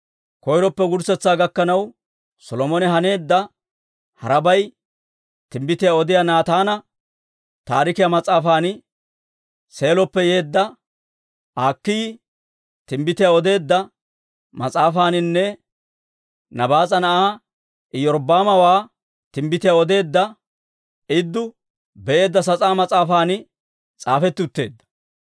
Koyroppe wurssetsaa gakkanaw Solomone haneedda harabay Timbbitiyaa Odiyaa Naataana Taarikiyaa mas'aafan, Seeloppe Yeedda Akiiyi Timbbitiyaa odeedda Mas'aafaaninne Nabaas'a Na'aa Iyorbbaamawaa Timbbitiyaa odeedda Idduu Be'eedda sas'aa mas'aafan s'aafetti utteedda.